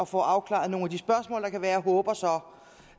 får afklaret nogle af de spørgsmål der kan være jeg håber så